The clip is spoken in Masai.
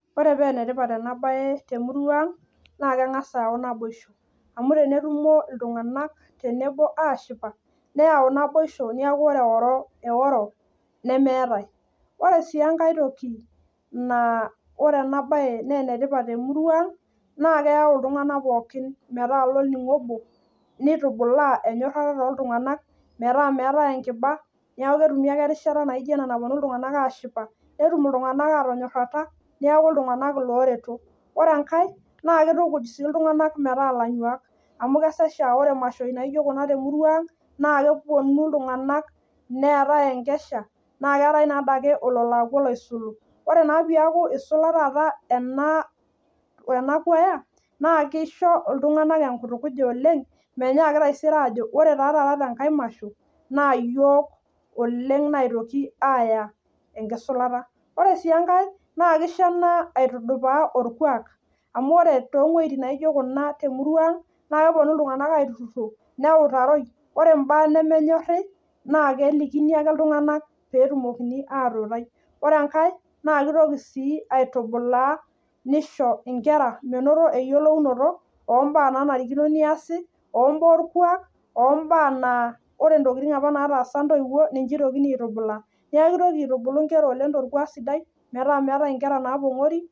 ore paa enetipat ena bae naa keyau naboisho neeku meetae eworo, ore sii enkae toki naa keyau iltunganak tenebo naa kitukuj sii iltungank metaa ilanyuak. ore oltungani oisula naa kesho iltunganak metonyuaa oleng. nesiho sii nkera metayiolo baa naanare neas neeku meeetae nkera naapongori